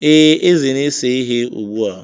Ee, Eze na-ese ihe ugbu a.